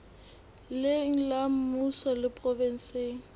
leng la mmuso le provenseng